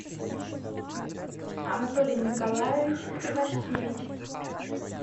анатолий николаевич ивашкевич